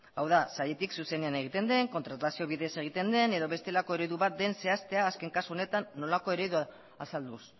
hau da sailetik zuzenean egiten den kontratazio bidez egiten den edo bestelako eredu bat den zehaztea azken kasu honetan nolakoa eredua azalduz